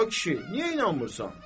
A kişi, niyə inanmırsan?